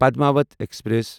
Padmaavat express